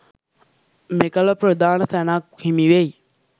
මෙකල ප්‍රධාන තැනක් හිමි වෙයි.